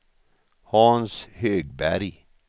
Hans Högberg